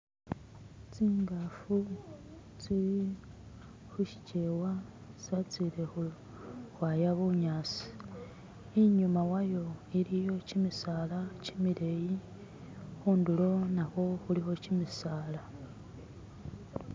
Tsingafu tsili khushikyewa tsatsile khwaya bunyasi inyuma wayo iliyo kimisala kimileyi khundulo nakhwo khulikho kimisala